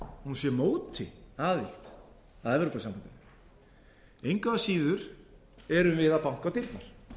að hún sé á móti aðild að evrópusambandinu engu að síður erum við að banka á dyrnar